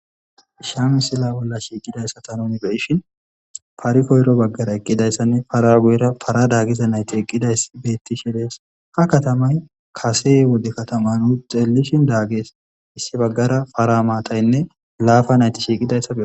Haysa ha misila bolla shiqidaysata nu beyishn paray koyro bagara eqidaysanne para guyera para dagiya nayt eqidaysa besishe Des, ha katamay Kase wode katama nu xelishn Dages, issi bagara para matayne laapa nayt shiiqidaysa beyos